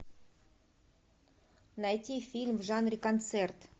найти фильм в жанре концерт